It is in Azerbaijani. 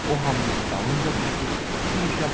O hamının dalınca düşür,